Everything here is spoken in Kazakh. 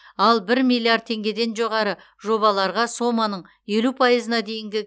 ал бір миллиард теңгеден жоғары жобаларға соманың елу пайызына дейінгі